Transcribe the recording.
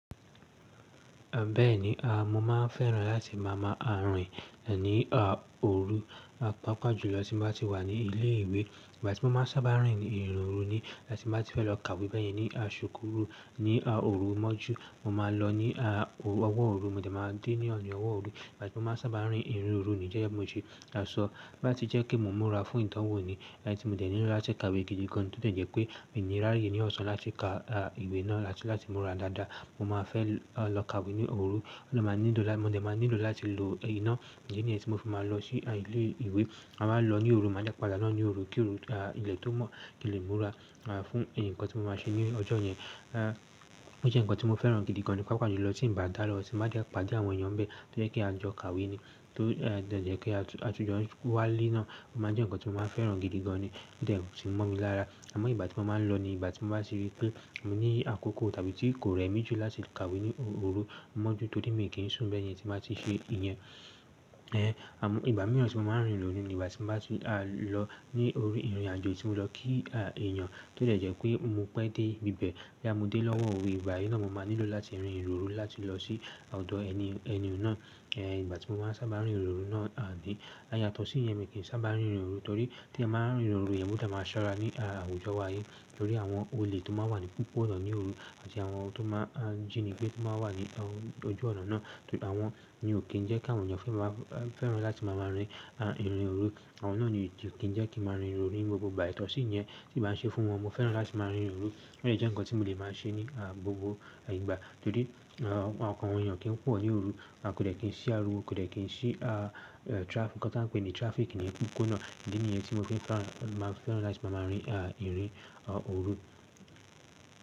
Bẹ́ẹ̀ni, mo máa ń fẹ́ràn láti máa máa rìn ní òru pápájùlọ tí mo bá ti wà ní ilé ìwé. Ìgbà tí mo máa sábà rìn ìrìn òru ní tí mo bá ti fẹ́ lọ kàwé bẹ́ yen ní aṣùkúrù ní òru mọ́jú mo máa lọ ní ọwọ́ òru, mò de máa dé ní ọwọ́ òru. Ìgbà tí mo máa sábà rìn ìrìn òru níi gege bi mo ta sọ, to ba ti jẹ́ kí mo múra fún ìdanwò ní tí mo dẹ̀ nílò láti kàwé gidi gan. To de je pe mi niraye ni osan at lati ika iwe naa ati lati mura daada mo maa fe lo ka iwe oru. Mo de máa nílò láti lo iná, idi ni yẹn tí mo fi máa lọ sí ilé ìwe. A máa lọ ní òru, máa jẹ́ padà lọ ní òru. Kí òru, ilẹ̀ tó mọ̀ kín le múra fún ǹkan tí mo máa ṣe ní ọjọ́ yẹn. Ó jẹ́ ǹkan tí mo fẹ́ràn gidi gan ní pápá jùlọ tí n bá dálọ́, tí mo bá ti padé àwọn èyàn n be, tó jẹ́ pe a jọ kawé ní, tó dẹ̀ jẹ́ pé a tún jọ wá le naá, o máa jẹ́ ǹkan tí mo máa fẹ́ràn gidi gan ní, o de ti momi lara. Àmọ́ ìgbà tí mo máa ń lọ ni ìgbà tí mo bá ti rí pé mo ní àkókò tàbí kì í rẹ̀ mí jù láti kawe ní òru mọ́jú, torí mi kì í ṣùn bẹ́ẹ̀ yẹn tí mo bá ti ṣe ìyẹn. Àmọ́ ìgbà mìíràn tí mo máa ń rìn irin o ni ìgbà tí mo bá ti lọ ní orí ìrìn àjọ tí mo lọ kí èèyàn, tó dẹ̀ jẹ́ pé mo pẹ́ dé ibi bẹ̀, boya mo dé lọ́wọ́ òwe. Ìgbà yii ní mo máa nílò láti rin ìrìn òru láti lọ sí ọ̀dọ̀ ẹni ẹnìun náà. Ìgbà tí mo máa sábà rìn ìrìn òru náà ní, á yatọ̀ sí yẹn mi kì í sábà rìn ìrìn òru, torí tí ẹ ba ń rìn òru yẹn, ko dẹ̀ máa ṣọ́rá ní àwujọ wá yìí. Nitorí àwọn olè tó máa wà ní popo ọ̀nà ní òru àti àwọn tó máa jíni gbé tó máa wà ní ọju ọ̀nà náà. Àwọn ohun ni ò kì í jẹ́ kà wí àwọn ènìyàn fẹ́ràn láti máa máa rìn ìrìn òru. Àwọn náà ni ò kì í jẹ́ kí.